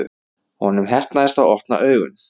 Honum heppnaðist að opna augun.